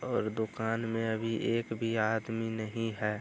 और दुकान में अभी एक भी आदमी नहीं है।